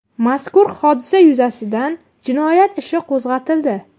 Mazkur hodisa yuzasidan jinoyat ishi qo‘zg‘atildi.